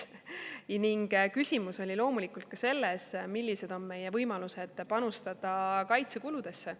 Ning küsimus oli loomulikult ka selles, millised on meie võimalused panustada kaitsekuludesse.